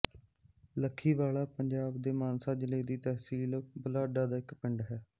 ਲੱਖੀਵਾਲਾ ਪੰਜਾਬ ਦੇ ਮਾਨਸਾ ਜ਼ਿਲ੍ਹੇ ਦੀ ਤਹਿਸੀਲ ਬੁਢਲਾਡਾ ਦਾ ਇੱਕ ਪਿੰਡ ਹੈ